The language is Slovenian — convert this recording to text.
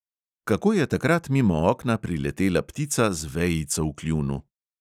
Kako je takrat mimo okna priletela ptica z vejico v kljunu?